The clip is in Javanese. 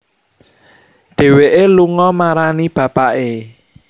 Dhéwéké lunga marani bapaké